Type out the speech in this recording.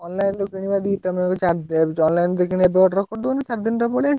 Online ରୁ କିଣିବା ତମେ ଯଦି ଚାହୁଁଛ? online ରୁ ଯଦି କିଣିବା ଏବେ order କରିଦଉନୁ, ସାତ ଦିନରେ ପଳେଇ ଆସିବ।